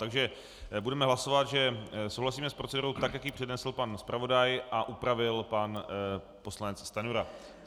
Takže budeme hlasovat, že souhlasíme s procedurou tak, jak ji přednesl pan zpravodaj a upravil pan poslanec Stanjura.